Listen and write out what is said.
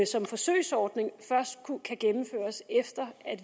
som forsøgsordning først kan gennemføres efter